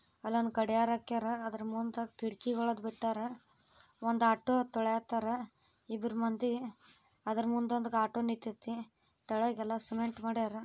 ಅಲ್ಲ ಒಂದ್ ಗದ್ಯಾರ್ ಹಾಕ್ಯಾರ. ಅದ್ರ ಮುಂದ ಖಿಡಕಿ ವಳಗ್ ಬಿಟ್ಟಾರ. ಒಂದ್ ಆಟೋ ತೊಳ್ಯಾತಾರ. ಇಬ್ಬರ ಮಂದಿ ಅದ್ರ ಮುಂದಗೊಂದ್ ಆಟೋ ನಿತ್ತೇತಿ. ತೆಳಗ ಯಲ್ಲಾ ಸಿಮೆಂಟ್ ಮಾಡ್ಯಾರ.